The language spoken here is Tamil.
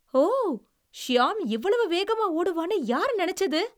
ஓ! ஷியாம் இவ்வளவு வேகமா ஓடுவான்னு யாரு நினைச்சது?